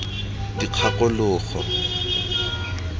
dikgakologo